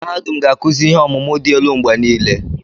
Mahadum ga-akụzi ihe ọmụmụ dị elu mgbe niile.